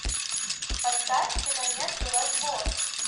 поставь киноленту развод